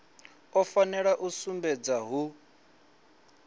u fanela u sumbedza hu